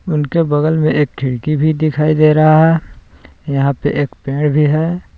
उनके बगल में एक खिड़की भी दिखाई दे रहा है यहां पे एक पेड़ भी है।